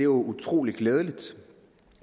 utrolig glædeligt